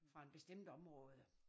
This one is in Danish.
Fra en bestemt område